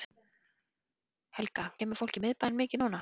Helga: Kemur fólki í miðbæinn mikið núna?